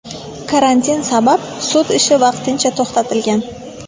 Karantin sabab sud ishi vaqtincha to‘xtatilgan.